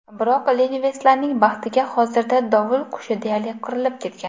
Biroq lenivetslarning baxtiga hozirda dovul qushi deyarli qirilib ketgan.